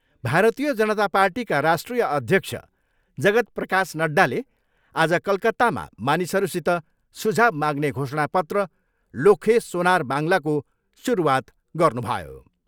भारतीय जनता पार्टीका राष्ट्रिय अध्यक्ष जगत् प्रकाश नड्डाले आज कलकत्तामा मानिसहरूसित सुझाउ माग्ने घोषणा पत्र लोक्खे सोनार बाङ्लाको सुरुवात गर्नुभयो।